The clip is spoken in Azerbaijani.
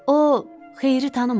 O xeyri tanımadı.